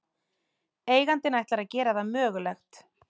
Eigandinn ætlar að gera það mögulegt